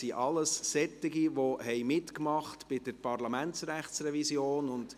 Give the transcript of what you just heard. Es sind alles solche, die bei der Parlamentsrechtsrevision dabei waren.